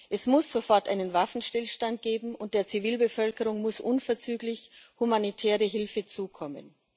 Es muss sofort einen Waffenstillstand geben, und der Zivilbevölkerung muss unverzüglich humanitäre Hilfe zukommen.